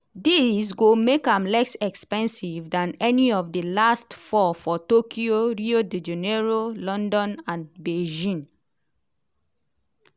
dis go make am less expensive dan any of di last four for tokyo rio de janeiro london and beijing.